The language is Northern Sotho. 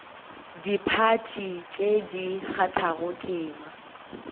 diphathi tše di kgathago tema